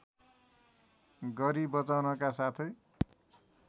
गरि बचाउनका साथै